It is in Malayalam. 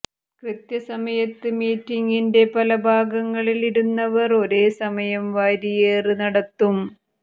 കൃത്യസമയത്ത് മീറ്റിംഗിന്റെ പല ഭാഗങ്ങളിൽ ഇരുന്നവർ ഒരേ സമയം വാരിയേറ് നടത്തും